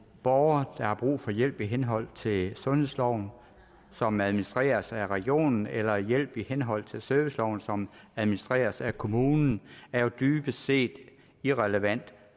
borgeren har brug for hjælp i henhold til sundhedsloven som administreres af regionen eller hjælp i henhold til serviceloven som administreres af kommunen er jo dybest set irrelevant